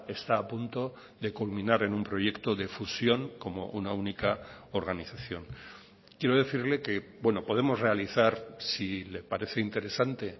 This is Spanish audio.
está a punto de culminar en un proyecto de fusión como una única organización quiero decirle que podemos realizar si le parece interesante